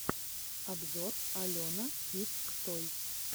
обзор алена кидс тойс